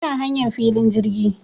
Ina hanyan filin jirgi